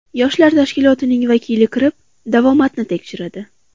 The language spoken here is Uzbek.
Yoshlar tashkilotining vakili kirib, davomatni tekshiradi.